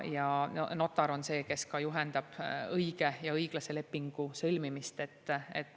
Ja notar on see, kes ka juhendab õige ja õiglase lepingu sõlmimist.